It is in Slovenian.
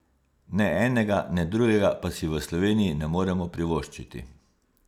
Ne enega ne drugega pa si v Sloveniji ne moremo privoščiti.